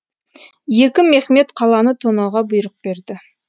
екі мехмет қаланы тонауға бұйрық берді